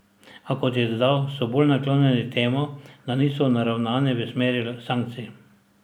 A, kot je dodal, so bolj naklonjeni temu, da niso naravnani v smeri sankcij.